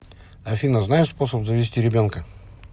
афина знаешь способ завести ребенка